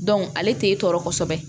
ale t'e tɔɔrɔ kosɛbɛ